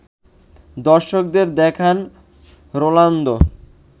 দর্শকদের দেখান রোনালদো